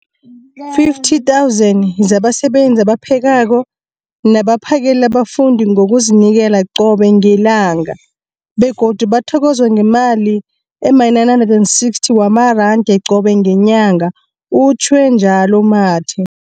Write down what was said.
50 000 zabasebenzi abaphekako nabaphakela abafundi ngokuzinikela qobe ngelanga, begodu bathokozwa ngemali ema-960 wamaranda qobe ngenyanga, utjhwe njalo u-Mathe.